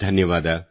ಧನ್ಯವಾದ